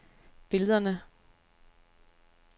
billederne